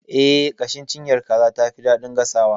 Eh, ƙashin cinyar kaza tafi daɗin gasawa.